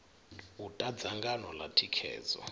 u ta dzangano ḽa thikhedzo